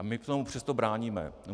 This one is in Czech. A my tomu přesto bráníme.